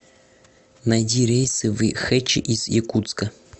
найди рейсы в хэчи из якутска